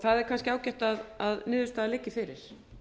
það er kannski ágætt að niðurstaðan liggi fyrir